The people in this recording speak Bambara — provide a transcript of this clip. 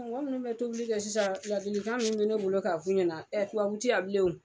minnu bɛ tobili kɛ sisan laadilikan min bɛ ne bolo k'a f'u ɲɛna tubabu ti yan bilen o.